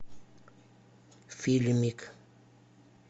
фильмик